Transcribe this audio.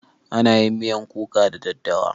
Ana yin miyan kuka da daddawa.